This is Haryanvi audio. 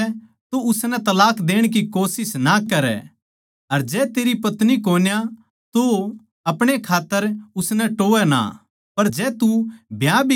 जै तेरी पत्नी सै तो उसनै तलाक देण की कोशिश ना करै अर जै तेरै पत्नी कोन्या तो आपणे खात्तर उसनै टोहवै ना